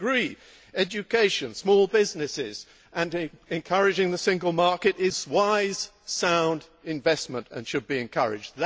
We agree education, small businesses and encouraging the Single Market is wise, sound investment and should be encouraged.